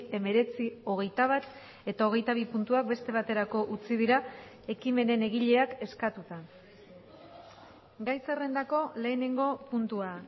hemeretzi hogeita bat eta hogeita bi puntuak beste baterako utzi dira ekimenen egileak eskatuta gai zerrendako lehenengo puntua